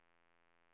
M I N N S